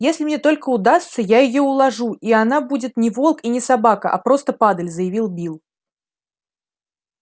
если мне только удастся я её уложу и она будет не волк и не собака а просто падаль заявил билл